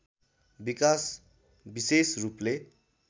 विकाश विशेष रूपले